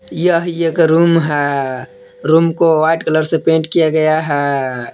यह का रूम है रूम को व्हाइट कलर से पेंट किया गया है।